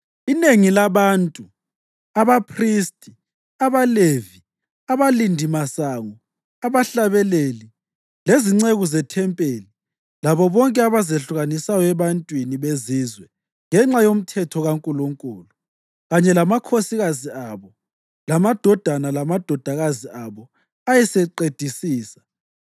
Inengi labantu, abaphristi, abaLevi, abalindimasango, abahlabeleli, lezinceku zethempeli labo bonke abazehlukanisayo ebantwini bezizwe ngenxa yoMthetho kaNkulunkulu, kanye lamakhosikazi abo lamadodana lamadodakazi abo ayeseqedisisa